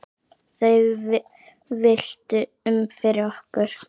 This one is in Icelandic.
Þau villtu um fyrir okkur.